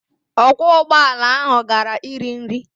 Ọkwọ ụgbọala ahụ gara iri nri.